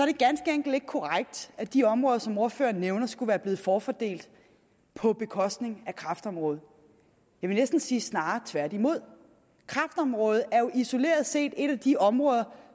det ganske enkelt ikke korrekt at de områder som ordføreren nævner skulle være blevet forfordelt på bekostning af kræftområdet jeg vil næsten sige snarere tværtimod kræftområdet er jo isoleret set et af de områder